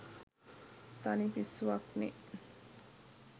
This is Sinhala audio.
තනි පිස්සුවක්නේ